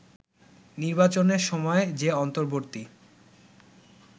নির্বাচনের সময় যে অন্তর্বর্তী